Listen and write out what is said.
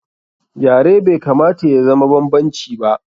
Yare bai kamata ya zama banbanci ba.